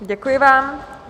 Děkuji vám.